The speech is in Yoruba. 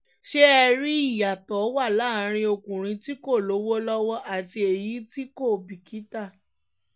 ṣé ẹ rí i ìyàtọ̀ wa láàrin ọkùnrin tí kò lówó lọ́wọ́ àti èyí tí kò bìkítà